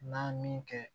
N'a min kɛ